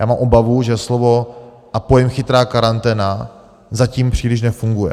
Já mám obavu, že slovo a pojem chytrá karanténa zatím příliš nefunguje.